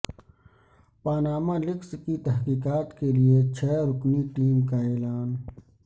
Panama leaks کی تحقیقات کے لیے چھ رکنی ٹیم کا اعلان